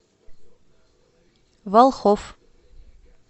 волхов